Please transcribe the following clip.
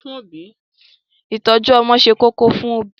Ìtọ́jú ọmọ ṣe kókó fún òbí.